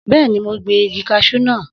Bẹ́ẹ̀ni, mo gbin igi kaṣú náà.